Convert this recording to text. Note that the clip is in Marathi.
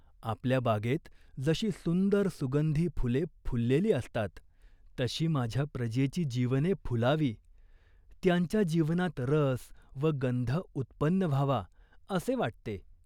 आपल्या बागेत जशी सुंदर सुगंधी फुले फुललेली असतात, तशी माझ्या प्रजेची जीवने फुलावी, त्यांच्या जीवनात रस व गंध उत्पन्न व्हावा असे वाटते.